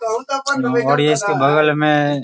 और इसके बगल में --